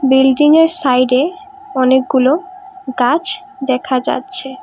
বিল্ডিংয়ের সাইডে অনেকগুলো গাছ দেখা যাচ্ছে।